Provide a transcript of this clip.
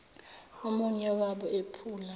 omunye wabo ephula